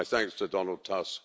My thanks to Donald Tusk.